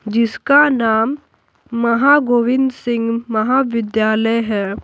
जिसका नाम महागोविंद सिंह महाविद्यालय है।